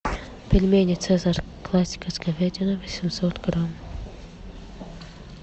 пельмени цезарь классика с говядиной восемьсот грамм